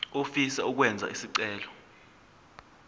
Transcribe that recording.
ofisa ukwenza isicelo